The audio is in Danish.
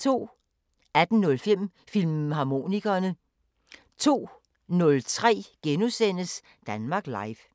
18:05: Filmharmonikerne 02:03: Danmark Live *